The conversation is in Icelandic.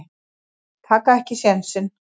Taka ekki sénsinn.